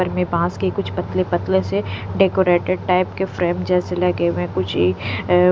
घर में बास की कुछ पतले पतले से डेकोरेटेड टाइप के फ्रेम जैसे लगे हुए हैं कुछ इ --